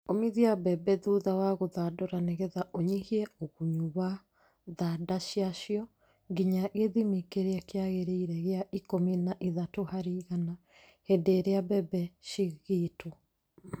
Umithia mbembe thutha wa gũthandũra nĩgetha ũnyihie ũgunyu wa thanda ciacio nginya gĩthimi kĩrĩa kĩagĩrĩire gĩa ikũmi na ithatũ harĩ igana hĩndĩ ĩrĩa mbembe cigĩtwo.